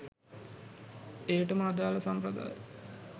එයටම අදළ සම්ප්‍රදාය